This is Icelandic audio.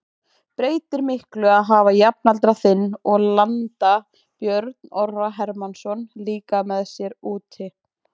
Breytir miklu að hafa jafnaldra þinn og landa Björn Orra Hermannsson líka með sér úti?